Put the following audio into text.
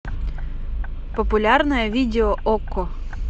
популярное видео окко